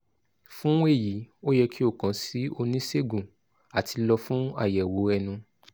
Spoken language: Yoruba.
fun eyi o yẹ ki o kan si onisegun ati lọ fun ayẹwo ẹnu